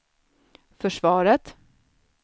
försvaret